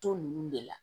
To ninnu de la